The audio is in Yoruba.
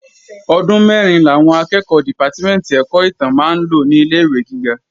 Ọdún mẹ́rin làwọn akẹ́ẹ̀kọ́ dìpátímẹ̀ntì ẹ̀kọ́ ìtàn máa ń lò ní ilé-ìwé gíga